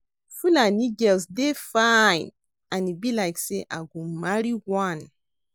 Fulani girls dey fine and e be like say I go marry one